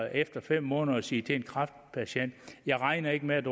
efter fem måneder at sige til en kræftpatient jeg regner ikke med at